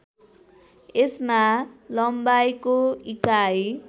यसमा लम्बाइको इकाइ